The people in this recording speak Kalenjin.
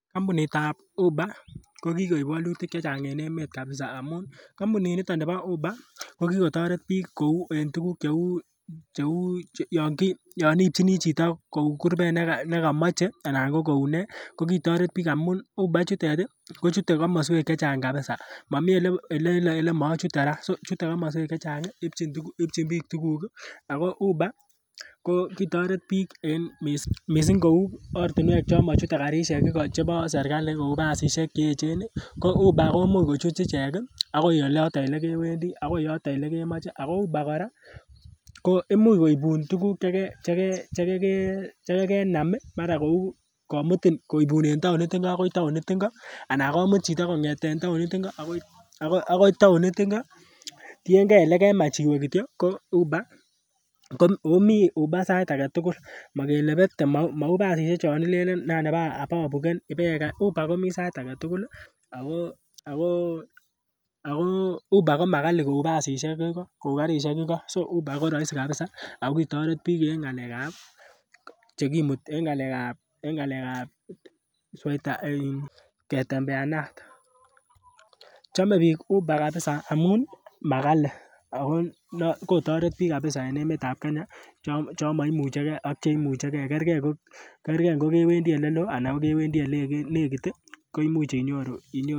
Kampunit ab Uber ko kikoib wolutik chechang en emet kabisa amun kampunit niton nibo Uber ko kikotoret biik kou en tuguk cheu yon iipchini chito kou kurbet nekomoche anan ko kou nee kokitoret biik amun Uber ichutet ih kochute komoswek chechang kabisa momii elemochute kora chute komoswek chechang ipchin biik tuguk ih ako uber ko kitoret biik en missing kou ortinwek chon mochute karisiek iko chebo serkali kou basisiek cheechen ih ko uber komuch kuchut ichek ih akoi oloton elekewendii akoi yoton elekemoche ako uber kora ko imuch koibun tuguk cheke cheke chekekenam ih mara kou komutin koibun en taonit ngo akoi taonit ngo anan komut chito kong'eten taonit ngo akoi taonit ngo tiengee elekemach iwe kityo ko uber komii uber sait aketugul mokele bete mou basisiek chon ilenen nan ababuken uber komii sait aketugul ako uber komakali kou basisiek igo kou karisiek igo so uber koroisi kabisa ako kitoret biik en ng'alek ab chekimuti en ng'alek ab en ng'alek ab ketembeanat. Chome biik Uber kabisa amun makali ako kotoret biik kabisa en emet ab Kenya chon moimuche gee ak cheimuche gee kergee ngo kewendii eleloo ana kewendii yenekit ih koimuch inyoru